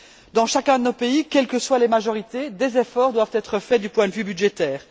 Dans chacun de nos pays, quelles que soient les majorités, des efforts doivent être faits du point de vue budgétaire.